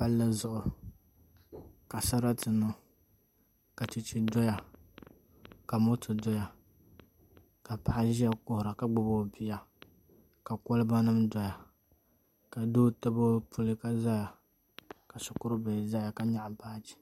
Palli zuɣu ka sarati niŋ ka chɛchɛ doya ka moto doya ka paɣa ʒiya kuhura ka gbubi o bia ka kolba nim doya ka doo tabi o puli ka ʒɛya ka shikuru bihi ʒɛya ka nyaɣa baaji